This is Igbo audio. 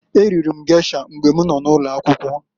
E riri m gesha mgbe m nọ n'ụlọakwụkwọ.